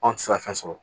Anw tɛ se ka fɛn sɔrɔ